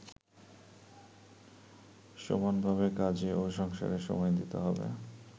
সমানভাবে কাজে ও সংসারে সময় দিতে হবে।